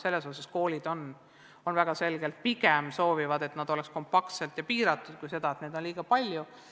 Selles osas soovivad koolid pigem seda, et need küsitlused oleksid kompaktsed ja piiratud, kui seda, et neid oleks liiga palju.